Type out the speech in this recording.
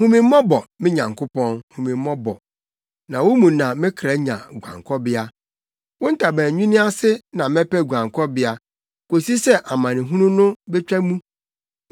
Hu me mmɔbɔ, me Onyankopɔn, hu me mmɔbɔ, na wo mu na me kra nya guankɔbea. Wo ntaban nwini ase na mɛpɛ guankɔbea kosi sɛ amanehunu no betwa mu.